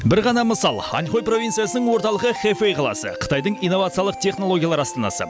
бір ғана мысал аньхой провинциясының орталығы хэфэй қаласы қытайдың инновациялық технологиялар астанасы